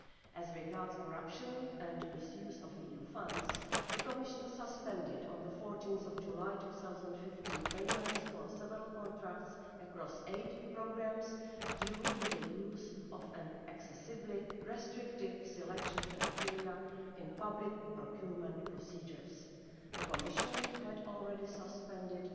As regards corruption and misuse of EU funds, the Commission suspended on 14 July 2015 payments for several contracts across eight programmes due to the use of an excessively restrictive selection criterion in public procurement procedures. The Commission had already suspended